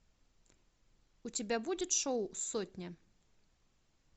у тебя будет шоу сотня